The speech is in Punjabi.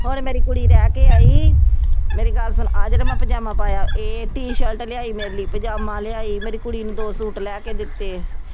ਹੁਣ ਮੇਰੀ ਕੁੜੀ ਰਹਿ ਕੇ ਆਈ, ਮੇਰੀ ਗੱਲ ਸੁਣ ਆਹ ਜਿਹੜਾ ਮੈਂ ਪਜਾਮਾ ਪਾਇਆ, ਇਹ ਟੀ-ਸ਼ਰਟ ਲਿਆਈ ਮੇਰੇ ਲਈ, ਪਜਾਮਾ ਲਿਆਈ, ਮੇਰੀ ਕੁੜੀ ਨੂੰ ਦੋ ਸੂਟ ਲੈ ਕੇ ਦਿੱਤੇ।